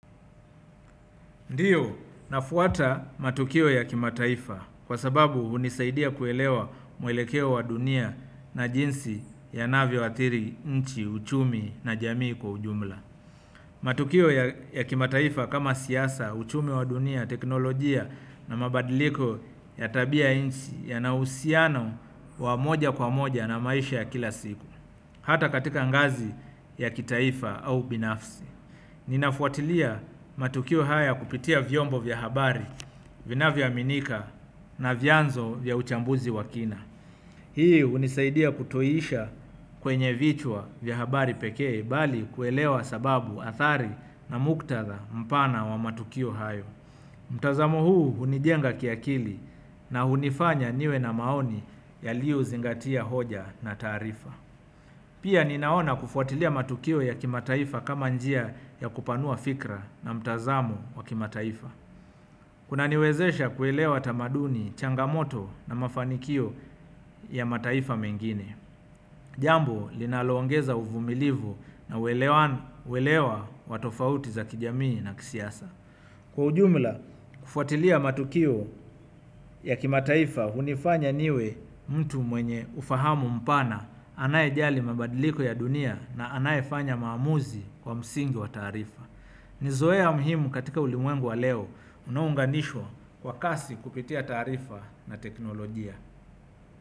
Ndiyo, nafuata matukio ya kimataifa kwa sababu unisaidia kuelewa mwelekeo wa dunia na jinsi yanavyoathiri, nchi, uchumi na jamii kwa ujumla. Matukio ya kimataifa kama siasa, uchumi wa dunia, teknolojia na mabadiliko ya tabia nchi yana uhusiano na maisha ya moja kwa moja kila siku ata katika ngazi ya kitaifa au binafsi. Ninafuatilia matukio haya kupitia vyombo vya habari vinavyoaminika na vyanzo vya uchambuzi wa kina hii unisaidia kutoisha kwenye vichwa vya habari pekee bali kuelewa sababu athari na muktatha mpana wa matukio hayo mtazamo huu unijenga kiakili na unifanya niwe na maoni yaliozingatia hoja na taarifa pia ninaona kufuatilia matukio ya kimataifa kama njia ya kupanua fikra na mtazamo wa kimataifa. Kuna niwezesha kuelewa tamaduni, changamoto na mafanikio ya mataifa mengine. Jambo linaloongeza uvumilivu na uelewa wa tofauti za kijamii na kisiasa. Kwa ujumla, kufuatilia matukio ya kimataifa unifanya niwe mtu mwenye ufahamu mpana anaye jali mabadiliko ya dunia na anaye fanya maamuzi kwa msingi wa taarifa. Nizoea muhimu katika ulimwengu wa leo unaounganishwa kwa kasi kupitia taarifa na teknolojia.